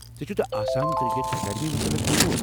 ژےٚ چھُتھہٕ Assam cricket academy متعلق بوٗزمُت؟